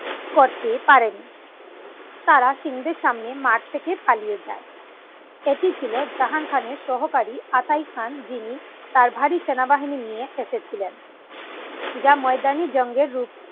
করতে পারেন তারা সিং দের সামনে মাঠ থেকে পালিয়ে যান এটি ছিল জাহাং খান এর সহকারী আতাই খান যিনি তার ভারী সেনাবাহিনী নিয়ে ফেঁসে ছিলেন